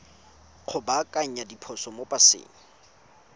go baakanya diphoso mo paseng